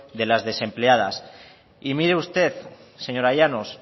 de las desempleadas y mire usted señora llanos